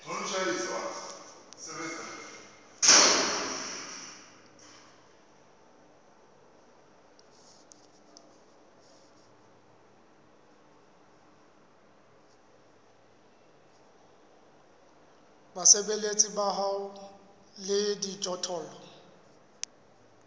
basebeletsi ba hao le dijothollo